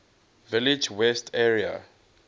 village west area